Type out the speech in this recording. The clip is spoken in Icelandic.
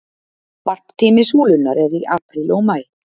varptími súlunnar er í apríl og maí